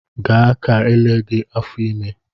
Gaa ka ele gị afọ ime!